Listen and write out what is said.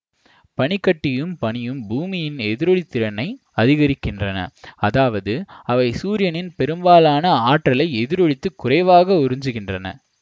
பனிக்கட்டியும் பனியும் பூமியின் எதிரொளித்திறனை அதிகரிக்கின்றன அதாவது அவை சூரியனின் பெரும்பாலான ஆற்றலை எதிரொளித்து குறைவாக உறிஞ்சுகின்றன